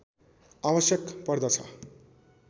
आवश्यक पर्दछ